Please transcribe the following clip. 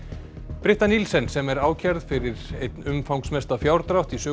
Nielsen sem er ákærð fyrir einn umfangsmesta fjárdrátt í sögu